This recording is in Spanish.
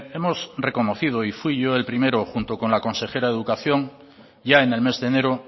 hemos reconocido y fui yo el primero junto con la consejera de educación ya en el mes de enero